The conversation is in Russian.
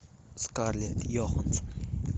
скарлетт йоханссон